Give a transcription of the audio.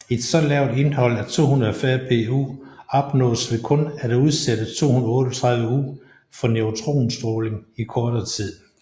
Et så lavt indhold af 240Pu opnås ved kun at udsætte 238U for neutronstråling i kortere tid